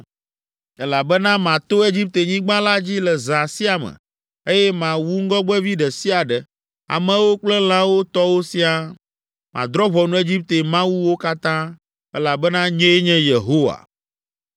“Elabena mato Egiptenyigba la dzi le zã sia me, eye mawu ŋgɔgbevi ɖe sia ɖe, amewo kple lãwo tɔwo siaa. Madrɔ̃ ʋɔnu Egipte mawuwo katã, elabena nyee nye Yehowa.